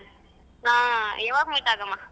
ಹ ಯಾವಾಗ meet ಆಗಮ.